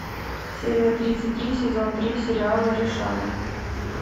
серия тридцать три сезон три сериала решала